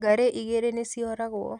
Ngarĩ igĩrĩ nĩcioragwo